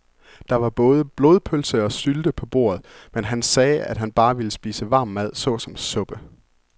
Der var både blodpølse og sylte på bordet, men han sagde, at han bare ville spise varm mad såsom suppe.